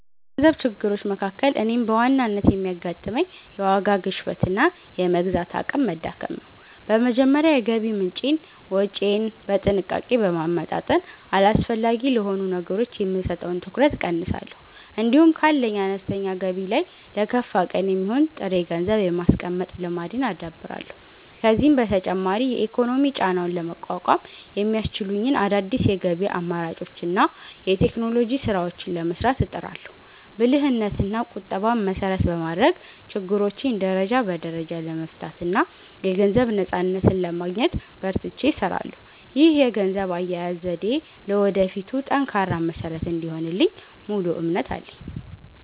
ከገንዘብ ችግሮች መካከል እኔን በዋናነት የሚያጋጥመኝ፣ የዋጋ ግሽበትና የመግዛት አቅም መዳከም ነው። በመጀመሪያ የገቢ ምንጬንና ወጪዬን በጥንቃቄ በማመጣጠን፣ አላስፈላጊ ለሆኑ ነገሮች የምሰጠውን ትኩረት እቀንሳለሁ። እንዲሁም ካለኝ አነስተኛ ገቢ ላይ ለከፋ ቀን የሚሆን ጥሬ ገንዘብ የማስቀመጥ ልማድን አዳብራለሁ። ከዚህም በተጨማሪ የኢኮኖሚ ጫናውን ለመቋቋም የሚያስችሉኝን አዳዲስ የገቢ አማራጮችንና የቴክኖሎጂ ስራዎችን ለመስራት እጥራለሁ። ብልህነትና ቁጠባን መሰረት በማድረግ፣ ችግሮቼን ደረጃ በደረጃ ለመፍታትና የገንዘብ ነፃነትን ለማግኘት በርትቼ እሰራለሁ። ይህ የገንዘብ አያያዝ ዘዴዬ ለወደፊቱ ጠንካራ መሰረት እንደሚሆንልኝ ሙሉ እምነት አለኝ።